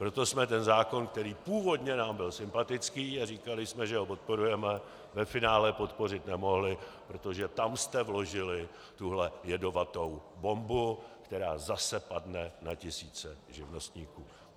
Proto jsme ten zákon, který původně nám byl sympatický, a říkali jsme, že ho podporujeme, ve finále podpořit nemohli, protože tam jste vložili tuhle jedovatou bombu, která zase padne na tisíce živnostníků.